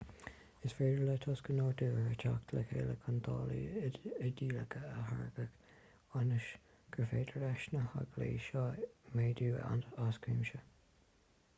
is féidir le tosca nádúrtha teacht le chéile chun dálaí idéalacha a tháirgeadh ionas gur féidir leis na halgaí seo méadú as cuimse